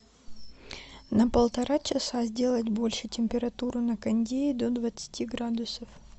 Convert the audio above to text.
на полтора часа сделать больше температуру на кондее до двадцати градусов